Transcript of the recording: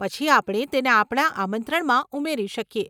પછી આપણે તેને આપણા આમંત્રણમાં ઉમેરી શકીએ.